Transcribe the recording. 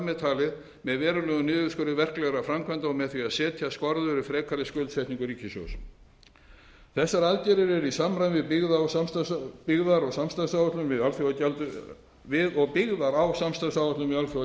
með talið með verulegum niðurskurði verklegra framkvæmda og með því að setja skorður við frekari skuldsetningu ríkissjóðs þessar aðgerðir eru í samræmi við og byggðar á samstarfsáætluninni við alþjóðagjaldeyrissjóðinn við